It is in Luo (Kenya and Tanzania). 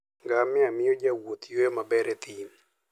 Ngamia miyo jowuoth yueyo maber e thim.